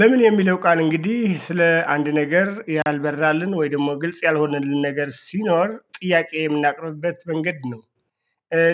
"ለምን" የሚለው ቃል እንግዲህ ስለ አንድ ነገር ያልበራልን ወይም ደግሞ ግልጽ ያልሆነልን ነገር ሲኖር፣ ጥያቄ የምናቀርብበት መንገድ ነው።